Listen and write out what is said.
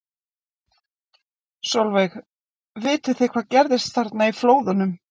Sólveig: Vitið þið hvað gerðist þarna í flóðunum?